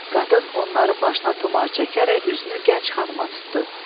Qadın onların başına tumar çəkərək üzünü gənc xanıma tutdu.